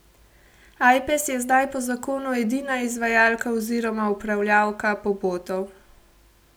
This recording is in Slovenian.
Ajpes je zdaj po zakonu edina izvajalka oziroma upravljavka pobotov.